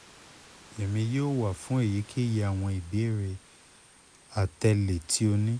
emi yoo wa fun eyikeyi awọn ibeere atẹle ti o ni